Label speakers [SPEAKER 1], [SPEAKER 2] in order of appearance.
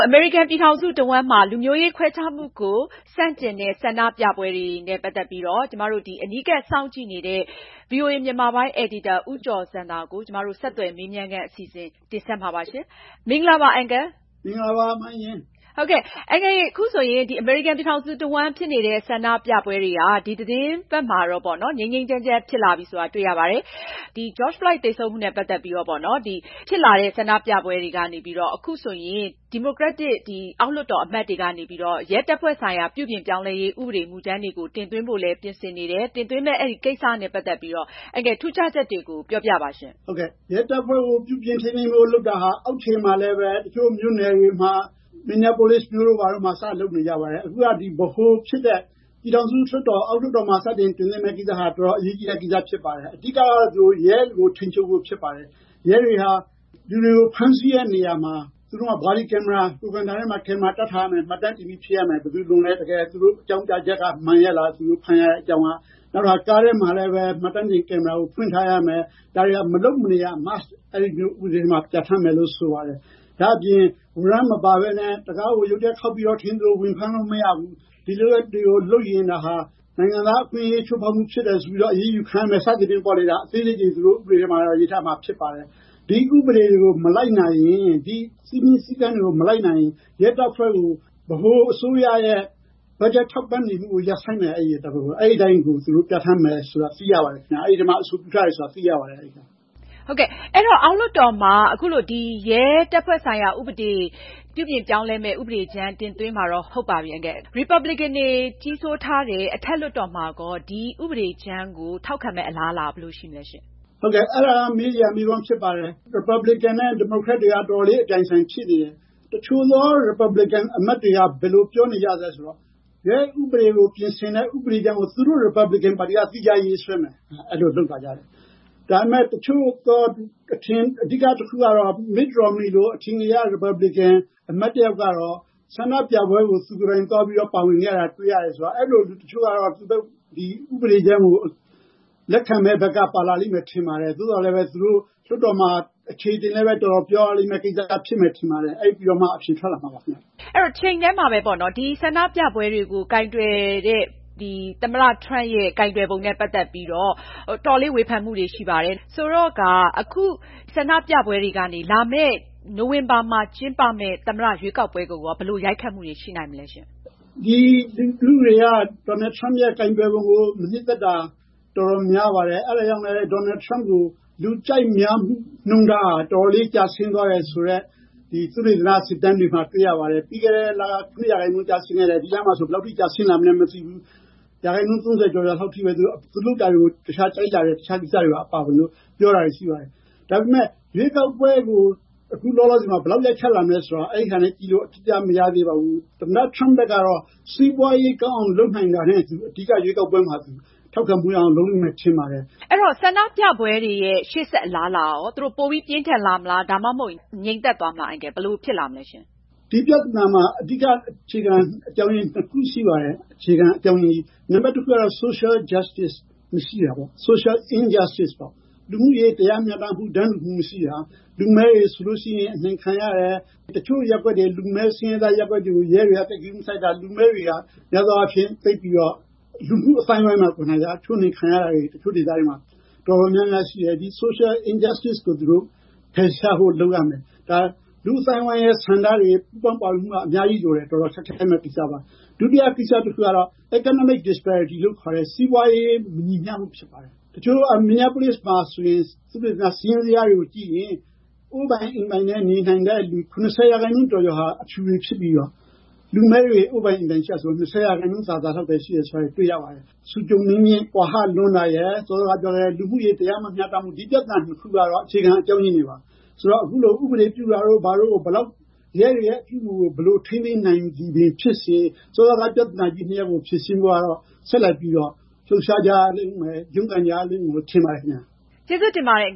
[SPEAKER 1] အမေရိကန် ပြည်ထောင်စု တဝှမ်းဖြစ်နေတဲ့ ဆန္ဒပြပွဲတွေက ဒီသတင်းပတ်မှာတော့ ငြိမ်းငြိမ်းချမ်းချမ်းဖြစ်လာပြီဆိုတာ တွေ့ရပါတယ်။ George Floyd သေဆုံးမှုနဲ့ ပတ်သက်ပြီးတော့ ဖြစ်လာတဲ့ ဆန္ဒပြပွဲတွေကနေပြီးတော့ အခုဆိုရင် ဒီမိုကရက် အောက်လွှတ်တော်အမတ်တွေကနေပြီးတော့ ရဲတပ်ဖွဲ့ဆိုင်ရာ ပြုပြင်ပြောင်းလဲရေး ဥပဒေမူကြမ်းတွေကို တင်သွင်းဖို့လည်း ပြင်ဆင်နေတယ်၊ တင်ဖို့ကိစ္စနဲ့ ပတ်သက်ပြီးတော့ ထူးခြားချက်တွေကို အန်ကယ်ပြောပြပါရှင့်။
[SPEAKER 2] ရဲတပ်ဖွဲ့ကို ပြင်ဆင်ဖို့လုပ်တာဟာ အောက်ခြေမှာလည်း တချို့မြို့တွေမှာ Minneapolis တို့မှာ စနေပြီ ။ အခုက ဗဟိုဖြစ်တဲ့ အောက်လွှတ်တော်မှာ စတင်တင်သွင်းမယ့်ကိစ္စဟာ တော်တော် အရေးကြီးတဲ့ ကိစ္စဖြစ်ပါတယ်။ အဓိကတော့ ရဲတွေကို ထိန်းချုပ်ဖို့ ဖြစ်ပါတယ်။ ရဲတွေဟာ လူတွေကို ဖမ်းဆီးတဲ့နေရာမှာ ကိုယ်ခန္ဓာမှာ ကင်မရာ တပ်ထားရမယ်။ မှတ်တမ်းတင်ပြီး ဖြစ်ရမယ်။ ဘယ်သူလွန်သလဲ။ တကယ် သူတို့အကြောင်းပြချက်က မှန်ရဲလား၊ သူတို့ဖမ်းရတဲ့ အကြောင်းက၊ နောက်တခါ ကားထဲမှာလည်း မှတ်တမ်းတင်ကင်မရာ ဖွင့်ထားရမယ်။ ဒါတွေဟာ မလုပ်မနေ Must အဲဒီ ဥပဒေမှာ ပြဌာန်းမယ်လို့ ဆိုပါတယ်။ နောက်တခါ ဝါရမ်း မပါပဲနဲ့ တံခါးကို ရုတ်တရက် ခေါက်ပြီးတော့ ဝင်ဖမ်းလို့ မရဘူး။ ဒီလုပ်ရက်တွေကို လုပ်ရင် ဒါဟာ နိုင်ငံသားအခွင့်အရေး ချိုးဖောက်မှုဖြစ်တယ် ဆိုပြီးတော့ အရေးယူခံရမယ် စသဖြင့်ပေါ့လေ။ ဒီလို လေးတွေ သူတို့ ဥပဒေထဲမှာ ရေးထားမှာ ဖြစ်ပါတယ်။ ဒီ ဥပဒေတွေ ၊ စည်းမျဉ်းစည်းကမ်းတွေကို မလိုက်နာရင် ရဲတပ်ဖွဲ့ကို ဗဟိုအစိုးရရဲ့ ဘတ်ဂျက်ထောက်ပံ့နေမှုကို ရပ်ဆိုင်းမယ်။ အဲဒီအတိုင်းကို သူတို့ ပြဌာန်းမယ်၊ အဲဒီထဲမှာ အဆိုပြုထားတယ်ဆိုတာသိရပါတယ်။
[SPEAKER 1] အောက်လွှတ်တော်မှာ အခုလို ရဲတပ်ဖွဲ့ဆိုင်ရာ ပြုပြင်ပြောင်းလဲမယ့် ဥပဒေကြမ်း တင်သွင်းမှာတော့ ဟုတ်ပါပြီ၊ ရီပါပလင်ကန်တွေကြီးစိုးထားတဲ့ အထက်လွှတ်တော်မှာရော ဒီဥပဒေကြမ်းကို ထောက်ခံမယ့် အလားအလာရော ဘယ်လိုရှိသလဲရှင့်။
[SPEAKER 2] အဲဒါက မေးစရာမေးခွန်းဖြစ်ပါတယ်။ ရီပါပလင်ကန်နဲ့ ဒီမိုကရက်တွေက တော်တော်လေး အပြိုင်အဆိုင်ဖြစ်နေတယ် ။ တချို့သော ရီပါပလင်ကန်အမတ်တွေက ဘယ်လိုပြောနေသလဲဆိုတော့ ရဲဥပဒေကို ပြင်ဆင်မယ့် ဥပဒေကြမ်းကို သူတို့ ရီပါပလင်ကန်တွေက သီးခြားရေးဆွဲမယ်။ အဲလိုလုပ်လာတယ်။ ဒါပေမယ့် တချို့သော အထင်ကရ ပုဂ္ဂိုလ် Mitt Romney လိုမျိုး ရီပါပလင်ကန် အမတ်တယောက်ကတော့ ဆန္ဒပြပွဲကို သူကိုယ်တိုင်သွားပြီးတော့ ပါဝင်ခဲ့တာကို တွေ့ရတယ်။ အဲလို လူတချို့ကတော့ ဥပဒေကြမ်းကို လက်ခံမယ့်ဘက်က ပါလာမယ်လို့ ထင်ပါတယ်။ ဒါပေမယ့် လွှတ်တော်မှာ သူတို့ အခြေတင်ပြေရမယ့် ကိစ္စဖြစ်ပါတယ်။ အဲဒါပြီးမှ အဖြေထွက်လာမှာပါ။
[SPEAKER 1] တချိန်တည်းမှာပဲ ဆန္ဒပြပွဲတွေကို သမ္မတ Trump ကိုင်တွယ်ပုံနဲ့ ပတ်သက်ပြီးတော့ တော်တော်လေးဝေဖန်မှုတွေ ရှိပါတယ်။ ဆိုတော့ အခု ဆန္ဒပြပွဲတွေကနေ လာမယ့် နိုဝင်ဘာမှာ ကျင်းပမယ့် သမ္မတ ရွေးကောက်ပွဲကိုရော ဘယ်လို ရိုက်ခတ်မှုတွေ ရှိလာနိုင်မလဲ။
[SPEAKER 2] ဒီလူထုတွေက Donald Trump ရဲ့ ကိုင်တွယ်ပုံကို မနှစ်သက်တာ တော်တော်များပါတယ်။ အဲဒါကြောင့် Donald Trump ရဲ့ လူကြိုက်မှုနှုန်းထားဟာ တော်တော်လေး ကျဆင်းသွားတယ်ဆိုတဲ့ သုတေသန စစ်တမ်းတွေမှာ တွေ့ရပါတယ်။ ပြီးခဲ့တဲ့လက ၉ % ကျဆင်းခဲ့တယ်။ ဒီလမှာဆိုရင် ဘယ်လောက်ထိ ကျဆင်းလာမလဲ မသိဘူး။ ၃၀% လောက်ပဲ သူလုပ်တာတွေကို ကြိုက်ကြတယ်၊ တချို့မကြိုက်ဘူး ။ ဒါပေမယ့် ရွေးကောက်ပွဲမှာ ဘယ်လောက်အအထိ ရိုက်ခတ်လာမလဲဆိုတာ အဲဒါနဲ့ကြည့်ပြီး အတိအကျ မသိရသေးပါဘူး။ သမ္မတ Trump ကတော့ စီးပွားရေး ကောင်းအောင် လုပ်နိုင်တာနဲ့ အတူ အဓိက ရွေးကွက်ပွဲမှာ ထောက်ခံမှုရအောင် သူလုပ်မယ်လို့ ထင်ပါတယ်။
[SPEAKER 1] အဲဒီတော့ ဆန္ဒပြပွဲတွေရဲ့ ရှေ့ဆက်အလားအလာကရော။ သူတို့ ပိုပြီးပြင်းထန်လာမလား၊ ဒါမှ မဟုတ် ငြိမ်သက်သွားမလား။ ဘယ်လိုတွေ ဖြစ်လာမလဲရှင့်။
[SPEAKER 2] ဒီပြဿနာမှာ အဓိက အခြေခံ အကြောင်းအရင်း ၂ ခုရှိတယ်။ တခုကတော့ Social injustice လူမှုရေး တရားမျှတမှု တန်းတူမှု မရှိတာပေါ့။ လူမည်းတွေဆိုရင် အနှိမ်ခံရတယ် ၊ တချို့ လူမည်း ဆင်းရဲသားရပ်ကွက်တွေကို ရဲတွေက ဂရုမစိုက်တာ ။ လူမည်းတွေက လူမှုအသိုင်းအဝိုင်းမှာကိုက ချိုးနှိမ်ခံရတာတွေ တချို့ဒေသတွေမှာ တော်တော်များများရှိတယ်။ ဒီ Social injustice ကို သူတို့ ဖယ်ရှားဖို့ လုပ်ရမယ် ။ ဒါက လူ့အသိုင်းအဝိုင်း ဆန္ဒတွေ ပူ ပေါင်းပါဖို့ အများကြီးလိုတယ်။ နောက်တခုကတော့ economic disparity လို့ခေါ်တဲ့ စီးပွားရေး မညီမျှမူဖြစ်ပါတယ်။ Minneapolis မှာဆိုရင် သုတေသန စာရင်းဇယား တွေကို ကြည့်ရင် ကိုယ်ပိုင်အိမ်နဲ့ နေနိုင်သူ ၇၀% ကျော်ကျော်ဟာ အဖြူဖြစ်ပြီးတော့ လူမည်းတွေ အိမ်ပိုင်နဲ့ ဆိုလို့ ၂၀% သာသာပဲ ရှိတယ်ဆိုတာ တွေ့ရပါတယ်။ စီးပွားရေး အနိမ့်အမြင့် ကွာဟလွန်းတာရယ်၊ စောစောက ပြောတဲ့ လူမှုရေး တရားမမျှတမှုတွေက ဒီပြဿနာတွေရဲ့ အခြေခံ အကြောင်းအရင်းတွေပါ ။ ဆိုတော့ အခု ဥပဒေပြုတာတို့က ရဲတွေရဲ့ အပြုအမှုကို ဘယ်လောက်အထိ ထိန်းသိမ်းနိုင်သည်ဖြစ်စေ၊ စောစောက ပြဿနာကြီး ၂ ရပ်ကို ဖြေရှင်းဖို့ ဆက်လက်ပြီးတော့ လှုပ်ရှားကြရမယ်၊ ရုန်းကန်ရမယ်လို့ ထင်ပါတယ်ခင်ဗျ။
[SPEAKER 1] ကျေးဇူးတင်ပါတယ် အ